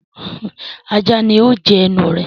Ajá ni ó jẹnu ẹ